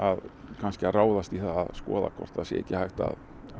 kannski að ráðast í það að skoða hvort það sé ekki hægt að